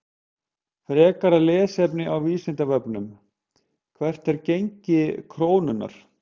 Frekara lesefni á Vísindavefnum: Hvert er gengi krónunnar?